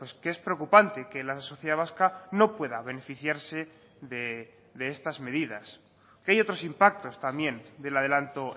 que es preocupante que la sociedad vasca no pueda beneficiarse de estas medidas que hay otros impactos también del adelanto